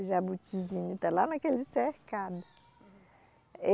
O jabutizinho, está lá naquele cercado.